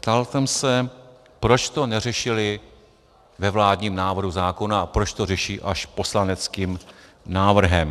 Ptal jsem se, proč to neřešili ve vládním návrhu zákona a proč to řeší až poslaneckým návrhem.